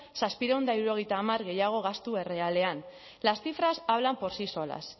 zazpiehun eta hirurogeita hamar gehiago gastu errealean las cifras hablan por sí solas